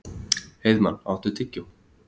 Heiðmann, áttu tyggjó?